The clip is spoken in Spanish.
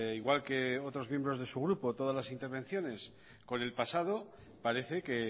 igual que otros miembros de su grupo todas las intervenciones con el pasado parece que